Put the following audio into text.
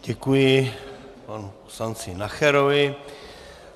Děkuji panu poslanci Nacherovi.